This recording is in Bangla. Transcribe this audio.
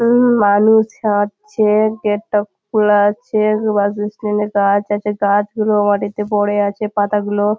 উম-উম মানুষ হাঁটছে গেট টা খোলা আছে গাছ আছে গাছগুলো মাটিতে পড়ে আছে পাতা গুলো --